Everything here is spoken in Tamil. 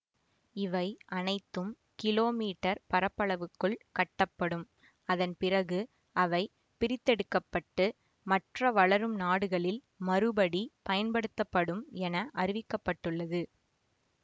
இவை அனைத்தும் கிலோ மீட்டர் பரப்பளவுக்குள் கட்டப்படும் அதன்பிறகு அவை பிரித்தெடுக்கப்பட்டு மற்ற வளரும் நாடுகளில் மறுபடி பயன்படுத்தப்படும் என அறிவிக்க பட்டுள்ளது